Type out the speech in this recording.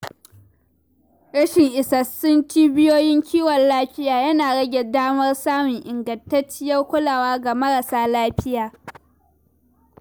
Rashin isassun cibiyoyin kiwon lafiya yana rage damar samun ingantacciyar kulawa ga marasa lafiya.